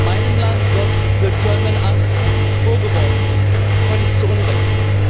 Meinem Land wird the German Angst vorgeworfen völlig zu Unrecht.